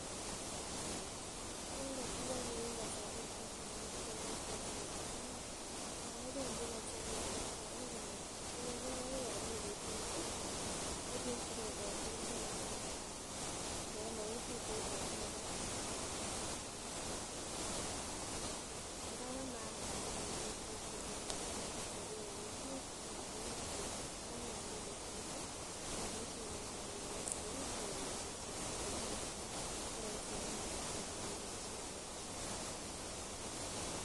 Yon kotuiyo biik en kasorwek chechang kobire pichait amun ih non kobendii kasorwek chechang komokituiyo kokaikai yon mii pichait ih tebie sikobwoten gee biik ndap mokituitos abokora. Kora bo maana yan mi pichaitab chito amun en kasorwek alak ih konan kobet chito kokaikai yan mi pichait ih imuche ibarte ih sikobit kecheng'un chichoton koroisi yon mii pichait. elekichengdoo chito